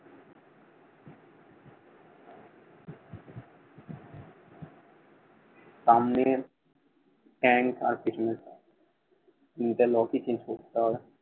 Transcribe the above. সামনের ট্যাংক আর পেছনেরটা তিনটা lock ই change করতে হবে।